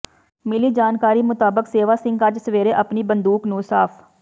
ਮਿਲੀ ਜਾਣਕਾਰੀ ਮੁਤਾਬਕ ਸੇਵਾ ਸਿੰਘ ਅੱਜ ਸਵੇਰੇ ਆਪਣੀ ਬੰਦੂਕ ਨੂੰ ਸਾਫ